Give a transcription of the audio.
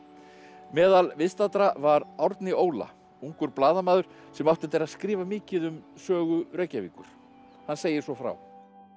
meðal viðstaddra var Árni Óla ungur blaðamaður sem átti eftir að skrifa mikið um sögu Reykjavíkur hann segir svo frá